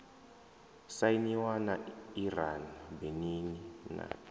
sainiwa na iran benin na